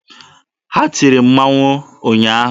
Ha tiri mmanwụ ụnyaahụ?